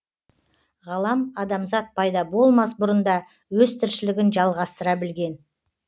ғалам адамзат пайда болмас бұрын да өз тіршілігін жалғастыра білген